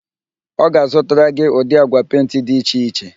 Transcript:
Ọ ga-azụtara gị ụdị agwa pentị dị iche iche